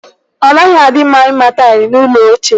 Ọ naghị na-adị mma ịma taịlụ n'ụlọ ochie.